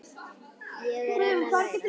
Ég er enn að læra.